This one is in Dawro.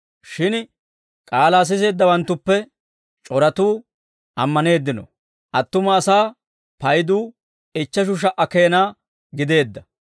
Shin k'aalaa siseeddawanttuppe c'oratuu ammaneeddino; attuma asaa payduu ichcheshu sha"a keena gideedda.